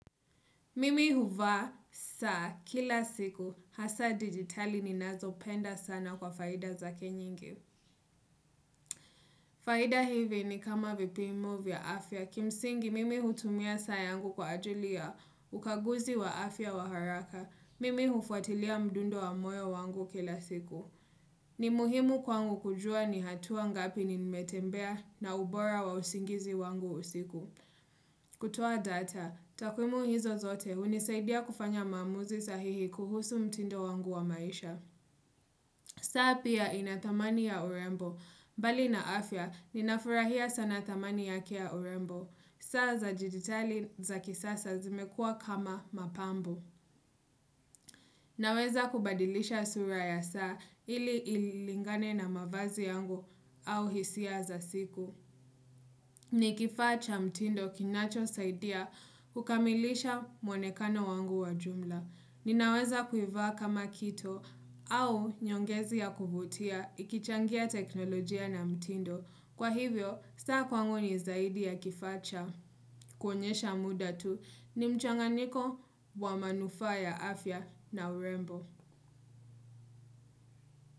Mimi huvaa, saa, kila siku, hasa digitali ninazo penda sana kwa faida zake nyingi. Faida hivi ni kama vipimo vya afya, kimsingi mimi hutumia saa yangu kwa ajili ya ukaguzi wa afya wa haraka. Mimi hufuatilia mdundo wa moyo wangu kila siku. Ni muhimu kwangu kujua ni hatua ngapi nimetembea na ubora wa usingizi wangu usiku. Kutoa data, takwimu hizo zote hunisaidia kufanya maamuzi sahihi kuhusu mtindo wangu wa maisha saa pia inathamani ya urembo, bali na afya ninafurahia sana thamani yake ya urembo saa za jiditali za kisasa zimekua kama mapambo Naweza kubadilisha sura ya saa ili ilingane na mavazi yangu au hisia za siku ni kifaa cha mtindo kinacho saidia kukamilisha muonekano wangu wa jumla. Ninaweza kuivaa kama kito au nyongezi ya kuvutia ikichangia teknolojia na mtindo. Kwa hivyo, saa kwangu ni zaidi ya kifaa cha. Kuonyesha muda tu ni mchanganiko wa manufaa ya afya na urembo.